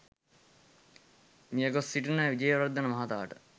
මිය ගොස් සිටින විජේවර්ධන මහතාට